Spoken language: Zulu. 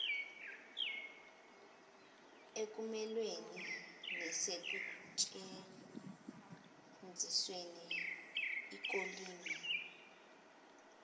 ekumelaneni nasekusetshenzisweni kolimi